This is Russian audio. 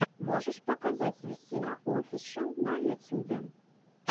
можешь показать висина офишел на ютюбе